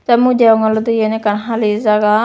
tay mui degong olode yen ekkan hali jaga.